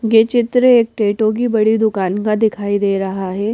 ये चित्र एक टैटो की बड़ी दुकान का दिखाई दे रहा है।